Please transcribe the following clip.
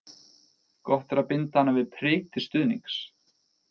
Gott er að binda hana við prik til stuðnings.